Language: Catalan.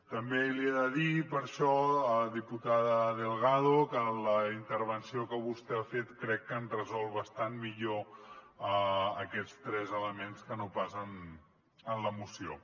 també li he de dir per això diputada delgado que en la intervenció que vostè ha fet crec que han resolt bastant millor aquests tres elements que no pas en la moció